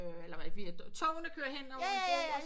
Øh eller via togene kører hen over en bro